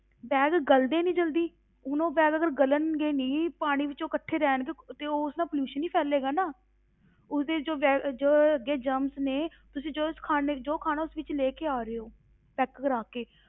Bag ਗਲ਼ਦੇ ਨੀ ਜ਼ਲਦੀ, ਹੁਣ ਉਹ bag ਅਗਰ ਗਲਣਗੇ ਨੀ, ਪਾਣੀ ਵਿੱਚ ਉਹ ਇਕੱਠੇ ਰਹਿਣਗੇ ਤੇ ਉਸ ਨਾਲ pollution ਹੀ ਫੈਲੇਗਾ ਨਾ, ਉਸਦੇ ਜੋ bag ਜੋ ਅੱਗੇ germs ਨੇ ਤੁਸੀਂ ਜੋ ਇਸ ਖਾਣ ਜੋ ਖਾਣਾ ਉਸ ਵਿੱਚ ਲੈ ਕੇ ਆ ਰਹੇ ਹੋ pack ਕਰਵਾ ਕੇ,